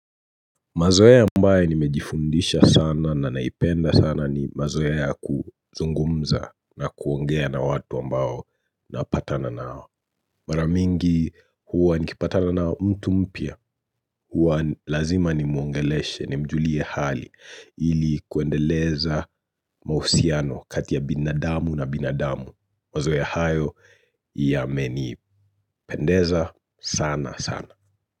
Mazoea ambayo nimejifundisha sana na naipenda sana ni mazoea ya kuzungumza na kuongea na watu ambao napatana nao. Mara nyingi huwa nikipatana na mtu mpya, huwa lazima nimuongeleshe, nimjulie hali ili kuendeleza mahusiano kati ya binadamu na binadamu. Mazoea hayo yamenipendeza sana sana.